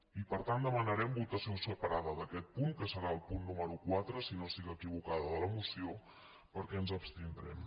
i per tant demanarem votació separada d’aquest punt que serà el punt nú·mero quatre si no estic equivocada de la moció perquè ens abstindrem